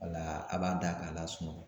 Wala a b'a da k'a lasunɔgɔ